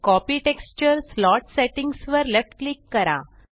copy texture slot settings वर left click करा